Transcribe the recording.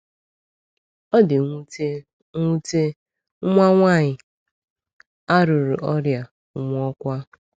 O di nwute, nwute, nwa nwaanyị a ruru ọrịa, nwụọkwa.